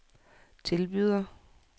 tilbyder